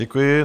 Děkuji.